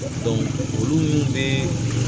olu mun be